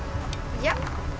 já